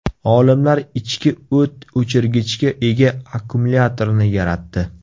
Olimlar ichki o‘t o‘chirgichga ega akkumulyatorni yaratdi.